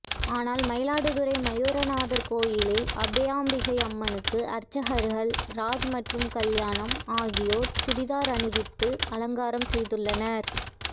ஆனால் மயிலாடுதுறை மாயூரநாதர் கோவிலில் அபயாம்பிகை அம்மனுக்கு அர்ச்சகர்கள் ராஜ் மற்றும் கல்யாணம் ஆகியோர் சுடிதார் அணிவித்து அலங்காரம் செய்துள்ளனர்